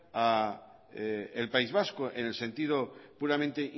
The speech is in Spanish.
al país vasco en el sentido puramente